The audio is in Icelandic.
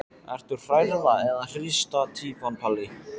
Ertu hrærða eða hrista týpan Palli?